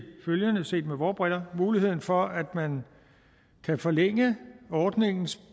følgende set med vore briller muligheden for at man kan forlænge ordningens